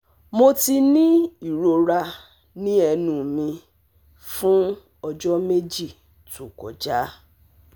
Mo ti ní ìrora ní ẹnu mi fún ọjọ́ méjì tó kọjá